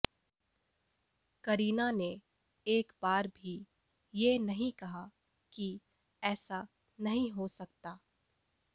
करीना ने एक बार भी ये नहीं कहा कि ऐसा नहीं हो सकता